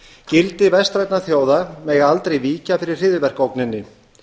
gildi vestrænna þjóða mega aldrei víkja fyrir hryðjuverkaógninni